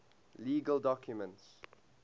legal documents